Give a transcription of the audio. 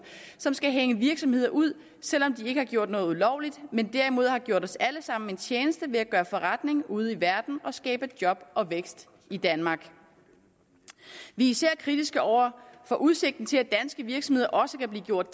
som skal hænge virksomheder ud selv om de ikke har gjort noget ulovligt men derimod har gjort os alle sammen en tjeneste ved at gøre forretning ude i verden og skabe job og vækst i danmark vi er især kritiske over for udsigten til at danske virksomheder også kan blive gjort